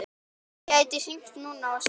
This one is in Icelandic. Gæti hringt núna og spurt.